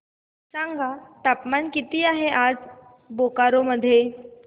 सांगा तापमान किती आहे आज बोकारो मध्ये